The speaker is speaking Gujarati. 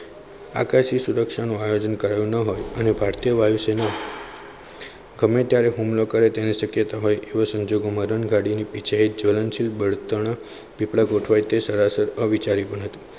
આકાશી સુરક્ષા નું આયોજન કરેલું ના હોય અને ભારતીય વાયુસેના ગમે ત્યારે હુમલો કરે તેની શક્યતા હતી તે સંજોગોમાં રન ગાડીઓ સહિત જલનશીલ બળતણ આપણે ગોઠવાય તે સરાસર વિચાર્યું ન હતું.